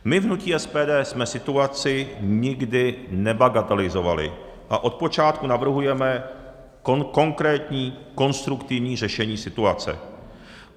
My v hnutí SPD jsme situaci nikdy nebagatelizovali a od počátku navrhujeme konkrétní konstruktivní řešení situace.